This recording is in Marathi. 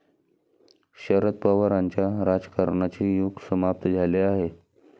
शरद पवारांच्या राजकारणाचे युग समाप्त झाले आहे.